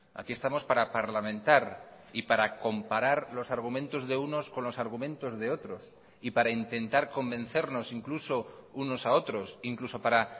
aquí estamos para parlamentar y para comparar los argumentos de unos con los argumentos de otros y para intentar convencernos incluso unos a otros incluso para